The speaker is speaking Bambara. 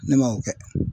Ne ma o kɛ